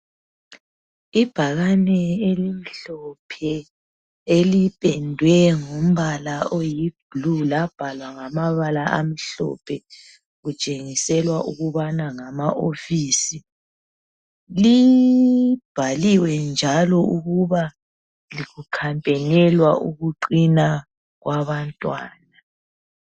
Ibhakane elimhlophe elipendwe ngombala oyi blue labhalwa ngamabala amhlophe kutshengiselwa ukubana ngama office, libhaliwe njalo ukuba kukhampenelwa ukuqina kwabantwana.